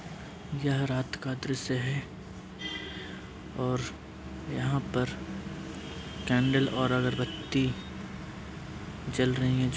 यह रात का दृश्य है और यहां पर कैंडल और अगरबत्ती जल रही है जो --